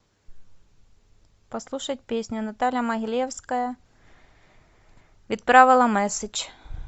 послушать песню наталья могилевская видправила мэсседж